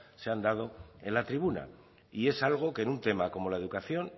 se han dado en la tribuna y es algo que en un tema como la educación